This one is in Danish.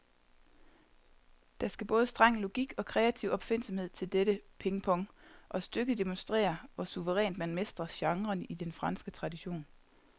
Der skal både streng logik og kreativ opfindsomhed til dette pingpong, og stykket demonstrerer, hvor suverænt man mestrer genren i den franske tradition.